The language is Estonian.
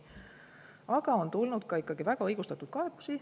Aga on tulnud ka väga õigustatud kaebusi.